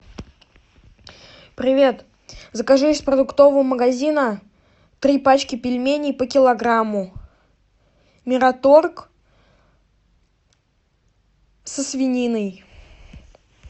привет закажи из продуктового магазина три пачки пельменей по килограмму мираторг со свининой